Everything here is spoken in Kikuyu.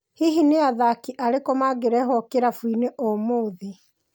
Hihi nĩ athaki arĩku magĩreho kĩrabũinĩ ũmũthĩ.